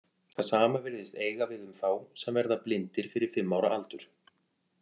Það sama virðist eiga við um þá sem verða blindir fyrir fimm ára aldur.